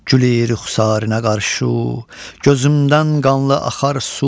Gülür xusarinə qarşı, gözümdən qanlı axar su.